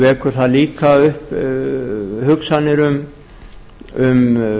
vekur það líka upp hugsanir um